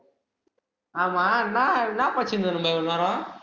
ஆமா என்ன என்ன படிச்சுட்டு இருந்த, இவ்வளோ நேரம்